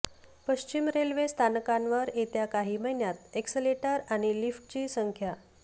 पश्चिम रेल्वे स्थानकांवर येत्या काही महिन्यात एक्सलेटर आणि लिफ्टची संख्या